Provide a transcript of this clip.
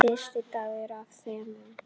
Fyrsti dagur af þremur.